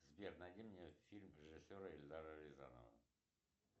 сбер найди мне фильм режиссера эльдара рязанова